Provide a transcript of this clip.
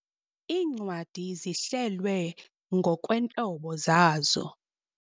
Iincwadi zihlelwe ngokweentlobo zazo.